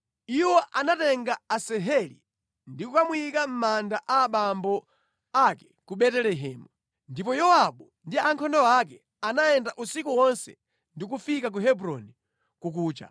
Iwo anatenga Asaheli ndi kukamuyika mʼmanda a abambo ake ku Betelehemu. Ndipo Yowabu ndi ankhondo ake anayenda usiku wonse ndi kufika ku Hebroni kukucha.